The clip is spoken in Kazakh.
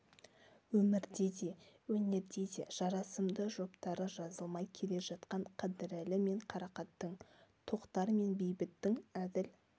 өмірде де өнерде де жарасымды жұптары жазылмай келе жатқан қыдырәлі мен қарақаттың тоқтар мен бейбіттің әділ